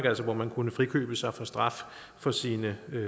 altså hvor man kunne frikøbe sig for straf for sine